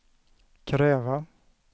kräva